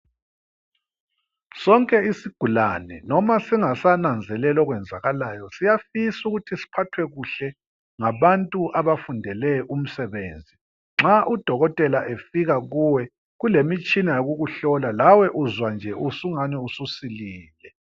Sonke isigulane nona singasananzeleli okwenzakalayo siyafisa ukuthi siphathwe kuhle ngabantu abafundeleyo umsebenzi. Nxa udokotela efika kuwe kule mitshina yokukuhlola lawe uzwa ungani ususilile.